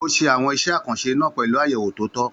Ó ṣe àwọn iṣẹ́ àkànṣe náà pẹ̀lú àyẹ̀wò tó tọ́.